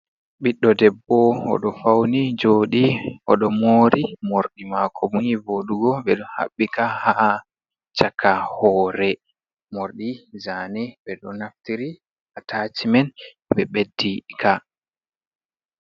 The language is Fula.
Ɓiɗɗo debbo, oɗo fauni joodi, oɗo moori morɗi mako ni voodugo ɓe ɗo haɓɓika ha chaka hore, mordi zane ɓe ɗo naftiri atacimen ɓe ɓeddi ka.